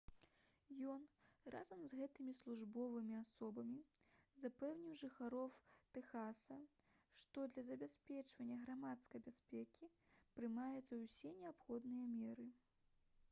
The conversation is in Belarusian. ён разам з гэтымі службовымі асобамі запэўніў жыхароў тэхаса што для забеспячэння грамадскай бяспекі прымаюцца ўсе неабходныя меры